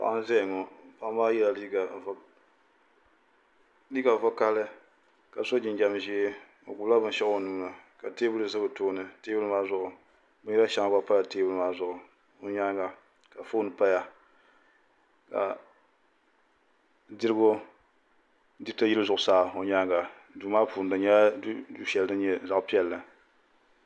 Paɣa n ʒɛya ŋo paɣa maa yɛla liiga vakaɣali ka so jinjɛm ʒiɛ o gbubila binshaɣu o nuuni ka teebuli ʒɛ o tooni binyɛri shɛŋa gba pala teebuli maa zuɣu o nyaanga ka foon paya ka diriti yili zuɣusaa o nyaanga duu maa puuni di nyɛla du shɛli din nyɛ du piɛlli